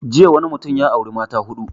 Jiya wani mutum ya auri mata huɗu